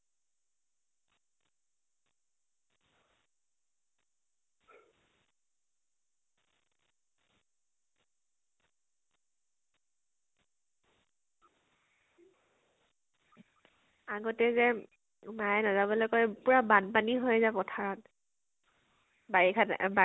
আগতে যে মায়ে নাজাবলৈ কয় । পুৰা বান্পানী হয় যে পথাৰত বাৰিষা ত বা